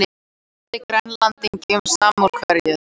Sendi Grænlendingum samúðarkveðjur